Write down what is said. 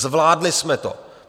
Zvládli jsme to.